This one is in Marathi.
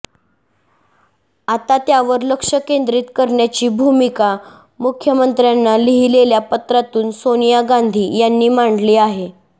आता त्यावर लक्ष केंद्रित करण्याची भूमिका मुख्यमंत्र्यांना लिहिलेल्या पत्रातून सोनिया गांधी यांनी मांडली आहे